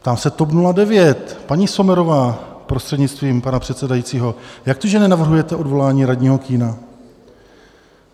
Ptám se TOP 09: Paní Sommerová, prostřednictvím pana předsedajícího, jak to, že nenavrhujete odvolání radního Kühna?